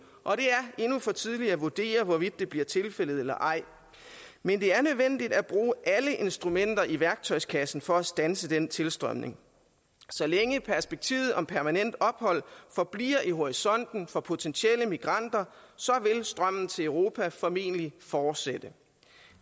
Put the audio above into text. og det er endnu for tidligt at vurdere hvorvidt det bliver tilfældet eller ej men det er nødvendigt at bruge alle instrumenter i værktøjskassen for at standse den tilstrømning så længe perspektivet om permanent ophold forbliver i horisonten for potentielle migranter vil strømmen til europa formentlig fortsætte